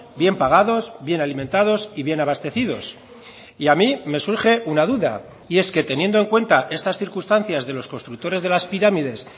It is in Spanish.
bien pagados bien alimentados y bien abastecidos y a mí me surge una duda y es que teniendo en cuenta estas circunstancias de los constructores de las pirámides